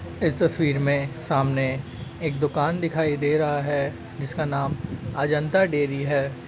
इस तस्वीर में सामने एक दुकान दिखाई दे रहा है। जिसका नाम अजंता डेयरी है।